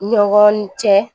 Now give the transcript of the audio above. Ɲɔgɔn cɛ